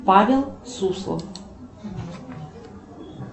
павел суслов